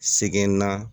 Sɛgɛnna